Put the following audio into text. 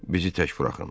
Bizi tək buraxın.